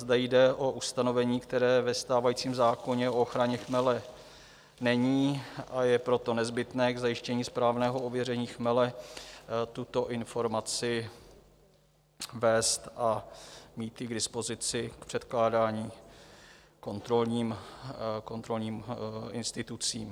Zde jde o ustanovení, které ve stávajícím zákoně o ochraně chmele není, a je proto nezbytné k zajištění správného ověření chmele tuto informaci vést a mít ji k dispozici v předkládání kontrolním institucím.